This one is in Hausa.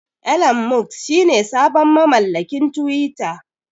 Elon Musk shine sabon mamallakin twitter.